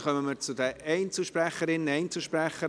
Somit kommen wir zu den Einzelsprecherinnen/Einzelsprechern.